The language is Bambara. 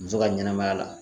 Muso ka ɲɛnɛmaya la